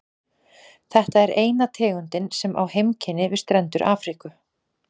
Þetta er eina tegundin sem á heimkynni við strendur Afríku.